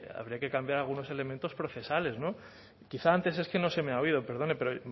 habría que cambiar algunos elementos procesales no quizá antes es que no se me ha habido perdone pero